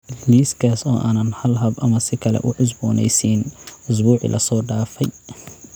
Liiskaas oo aanan hal hab ama si kale u cusboonaysiin usbuucii la soo dhaafay